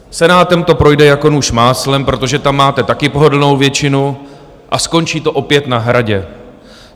Senátem to projde jako nůž máslem, protože tam máte taky pohodlnou většinu, a skončí to opět na Hradě.